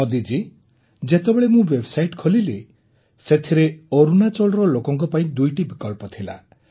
ମୋଦିଜୀ ଯେତେବେଳେ ମୁଁ ୱେବ୍ସାଇଟ୍ଟି ଖୋଲିଲି ସେଥିରେ ଅରୁଣାଚଳର ଲୋକଙ୍କ ପାଇଁ ଦୁଇଟି ବିକଳ୍ପ ଥିଲା